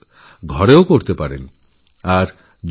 যোগ অনায়াসে ঘরেও অভ্যাসকরা যেতে পারে